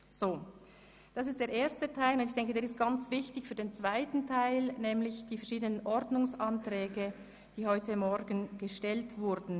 Wir kommen zu den verschiedenen Ordnungsanträgen, die heute Morgen gestellt wurden.